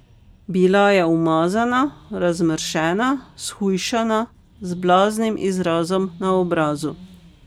Bila je umazana, razmršena, shujšana, z blaznim izrazom na obrazu.